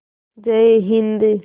जय हिन्द